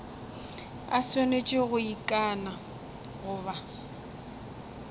a swanetše go ikana goba